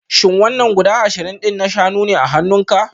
Shin wannan guda ashirin din na shanu ne a hannunku?